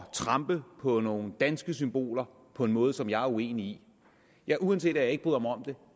trampe på nogle danske symboler på en måde som jeg er uenig i ja uanset at jeg ikke bryder mig om det